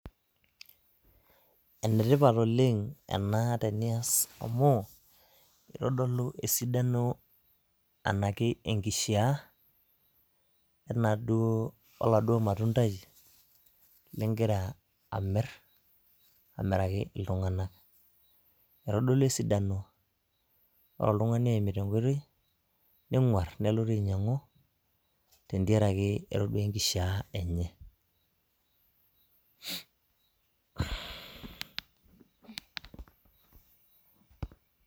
Ene tipat oleng' ena tenias amu, kitodolu esidano enaki enkishiaa oladuo matundai ligira amirr, aamiraki iltung'anak. Kitodolu esidano, ore oltung'ani oimita enkoitoi, neng'uar nelotu ainyiang'u tentiaraki etodua enkishaa enye.